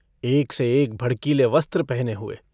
एक से एक भड़कीले वस्त्र पहने हुए।